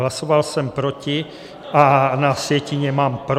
Hlasoval jsem proti, a na sjetině mám pro.